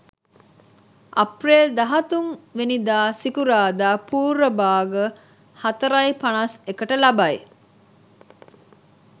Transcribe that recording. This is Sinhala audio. අප්‍රේල් 13 වැනිදා සිකුරාදා පූර්ව භාග 04.51 ට ලබයි.